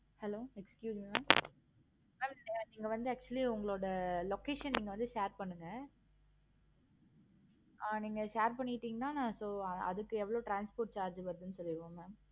hello excuse me mam ஆஹ் சொல்லுங்க இதுல வந்து actually location வந்து நீங்க share பண்ணுங்க. okay mam okay ஆஹ் நீங்க share பண்ணிட்டிங்கனா so அதுக்கு எவ்வளோ transport charge வருதுன்னு சொல்லிருவோம் mam